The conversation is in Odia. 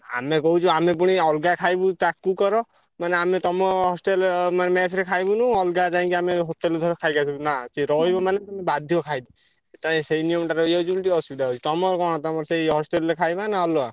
ଆମେ କହୁଛୁ ଆମେ ପୁଣି ଅଲଗା ଖାଇବୁ ତାକୁ କର ମାନେ ଆମେ ତମ hostel ମାନେ mess ରେ ଖାଇବୁନୁ ଅଲଗା ଯାଇକି ଆମେ hostel ରୁ ଧର ଖାଇକି ଆସିଲୁ। ନା ଯିଏ ରହିବ ମାନେ ବାଧ୍ୟ ଖାଇବ। ସେଇ ନିୟମଟା ରହିଯାଇଛି ବୋଲି ଟିକେ ଅସୁବିଧା ହଉଛି। ତମର କଣ ତମର ସେଇ hostel ରେ ଖାଇବା ନା ଅଲଗା?